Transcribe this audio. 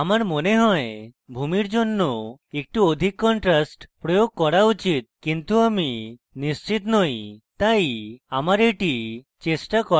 আমার মনে হয় ভূমির জন্য একটু অধিক contrast প্রয়োগ করতে পারি কিন্তু আমি নিশ্চিত নই তাই আমার the চেষ্টা করা উচিত